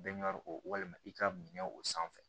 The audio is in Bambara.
Bɛɛ ɲɔgu walima i ka minɛ o sanfɛ